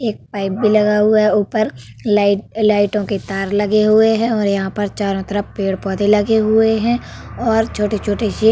एक पाइप भी लगा हुआ है ऊपर लाइट लाइटो के तार लगे हुए हैं और यहाँ पर चारों तरफ पेड़-पौधे लगे हुए हैं और छोटे-छोटे सी --